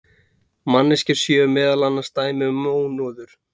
manneskjur séu meðal annars dæmi um mónöður